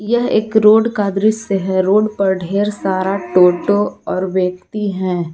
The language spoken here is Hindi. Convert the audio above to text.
यह एक रोड का दृश्य है रोड पर ढेर सारा टोटो और व्यक्ति हैं।